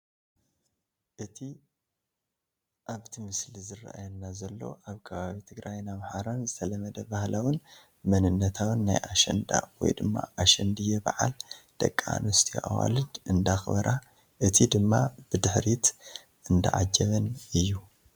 እቲ ኣብቲ ምስሊ ዝራኣየና ዘሎ ኣብ ከባቢ ትግራይን ኣምሓራ ዝተለመደ ባህላውን መንነታውን ናይ ኣሸንዳ/ኣሸንድዬ ባዓል ደቂ ኣንስትዮ ኣዋልድ እንዳኽበራ እቲ ድማ ብድሕሪት እንዳዓጀበን እዩ፡፡